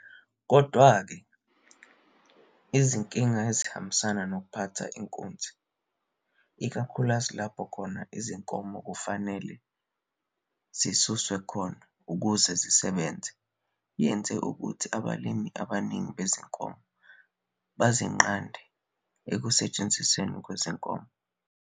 Kodwa-ke, izinkinga ezihambisana nokuphatha inkunzi, ikakhulukazi lapho izinkomo kufanele zisuswe khona ukuze zisebenze, yenze ukuthi abalimi abaningi bezinkomo bazinqande ekusetshenzisweni kwezinkomo, AI.